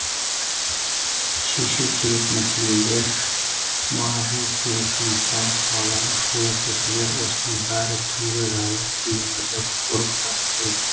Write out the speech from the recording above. шешу керек мәселелер бару керек жұмыстар қаладағы шулы көшелер осының бәрі түнгі жайлы күйінді бұрып тастайды